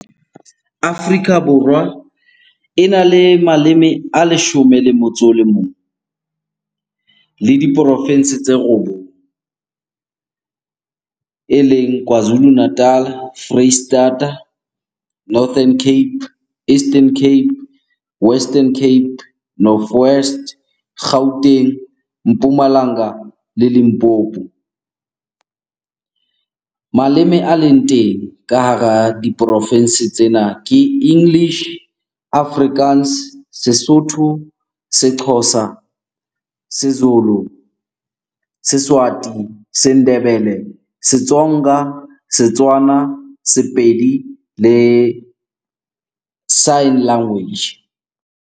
Afrika Borwa ena le maleme a leshome le motso o le mong le diporofense tse robong. Eleng Kwazulu Natal, Foreisetata, Northern Cape, Eastern Cape, Western Cape, North West, Gauteng, Mpumalanga le Limpopo. Maleme a leng teng ka hara diporofense tsena ke English, Afrikaans, Sesotho, Sexhosa, Sezulu, Seswati, Sendebele, Setsonga, Setswana, Sepedi le Sign Language.